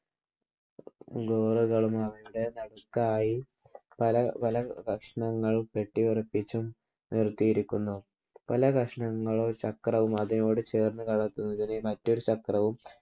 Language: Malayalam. ഘോരകളും ആകർക്കായി പല പല കഷ്ണങ്ങളും കെട്ടിയുറപ്പിച്ചും നിർത്തിയിരിക്കുന്നു. പല കഷ്ണങ്ങളും ചക്രവും അതിനോട് ചേർന്ന് കറങ്ങുന്ന മറ്റൊരു ചക്രവും